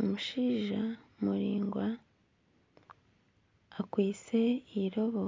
Omushaija muraingwa akwaitse eirobo